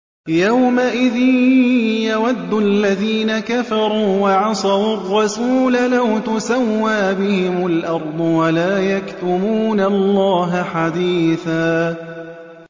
يَوْمَئِذٍ يَوَدُّ الَّذِينَ كَفَرُوا وَعَصَوُا الرَّسُولَ لَوْ تُسَوَّىٰ بِهِمُ الْأَرْضُ وَلَا يَكْتُمُونَ اللَّهَ حَدِيثًا